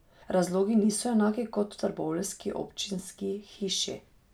Razlogi niso enaki kot v trboveljski občinski hiši.